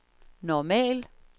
normal